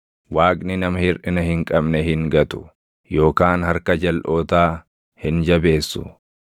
“Waaqni nama hirʼina hin qabne hin gatu; yookaan harka jalʼootaa hin jabeessu.